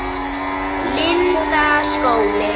Lundarskóli